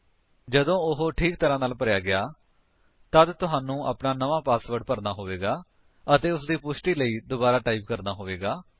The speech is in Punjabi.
ਜਦੋਂ ਉਹ ਠੀਕ ਤਰਾਂ ਨਾਲ ਭਰਿਆ ਗਿਆ ਤੱਦ ਤੁਹਾਨੂੰ ਆਪਣਾ ਨਵਾਂ ਪਾਸਵਰਡ ਭਰਨਾ ਹੋਵੇਗਾ ਅਤੇ ਉਸਦੀ ਪੁਸ਼ਟੀ ਲਈ ਦੁਬਾਰਾ ਟਾਈਪ ਕਰਨਾ ਹੋਵੇਗਾ